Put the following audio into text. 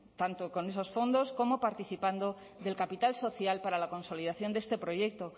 tanto con esos fondos como participando del capital social para la consolidación de este proyecto